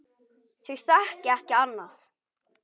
Þau þekki ekki annað.